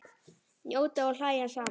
Njóta og hlæja saman.